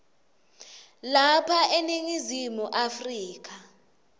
lapha eningizimu afrika